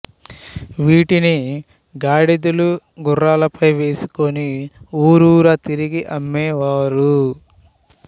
వీటిని గాడిదలు గుర్రాలపై వేసుకుని ఊరూరా తిరిగి అమ్మే వారు